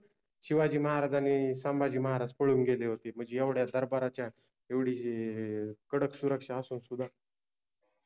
शिवाजि महाराज आनि सम्भाजि महाराज पळुन गेले होते. मनजे एवड्या दरबाराच्या एवढि कडक सुरक्षा असुन सुद्धा,